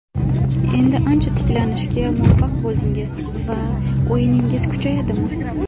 Endi ancha tiklanishga muvaffaq bo‘ldingiz va o‘yiningiz kuchayadimi?